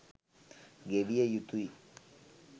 ගෙවිය යුතුයි.